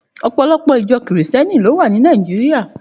Òpòlòpò ijò Kristièní ló wá ni Nàijiriá